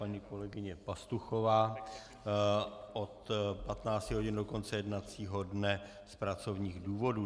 Paní kolegyně Pastuchová od 15 hodin do konce jednacího dne z pracovních důvodů.